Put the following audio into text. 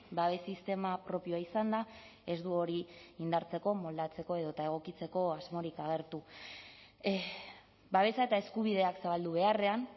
babez sistema propioa izanda ez du hori indartzeko moldatzeko edota egokitzeko asmorik agertu babesa eta eskubideak zabaldu beharrean